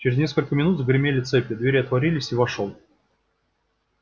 через несколько минут загремели цепи двери отворились и вошёл